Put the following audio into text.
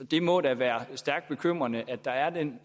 det må da være stærkt bekymrende at der er den